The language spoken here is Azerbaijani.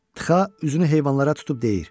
Txaa üzünü heyvanlara tutub deyir: